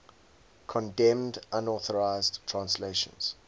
condemned unauthorized translations